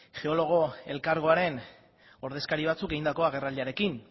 geologo elkargoaren ordezkari batzuk egindako agerraldiarekin